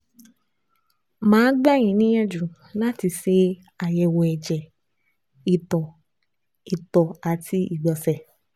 Màá gbà yín níyànjú láti ṣe àyẹ̀wò ẹ̀jẹ̀, ìtọ̀, ìtọ̀, àti ìgbọ̀nsẹ̀